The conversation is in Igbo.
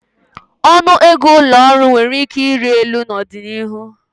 Ọnụ ego ụlọ ọrụ nwere ike ịrị elu n'ọdịnihu.